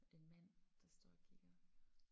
En mand der står og kigger